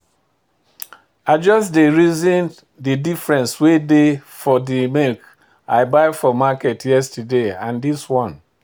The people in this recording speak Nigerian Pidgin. I just dey reason de different wey dey for de milk I buy for market yesterday and this one.